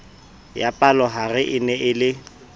ya palohare e ne e